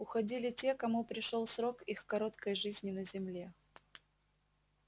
уходили те кому пришёл срок их короткой жизни на земле